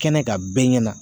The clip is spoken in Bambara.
Kɛnɛ kan bɛɛ ɲɛna